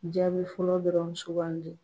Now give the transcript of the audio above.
Jaabi fɔlɔ dɔrɔn sugan di.